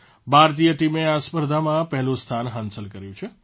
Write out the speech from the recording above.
ભારતીય ટીમે આ સ્પર્ધામાં પહેલું સ્થાન હાંસલ કર્યું છે